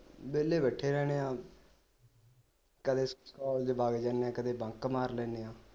ਵਿਹਲੇ ਬੈਠੇ ਰਹਿੰਦੇ ਆ ਕਦੀ college ਵਗ ਜਾਨੇ ਕਦੇ bunk ਮਾਰ ਲੈਂਦੇ ਆ